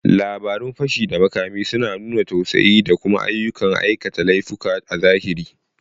Labarun fashi da makami suna nuna tsautsayi da kuma ayyukan aikata laifuka a zahiri.